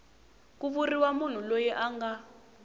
ku vuriwa munhu loyi anga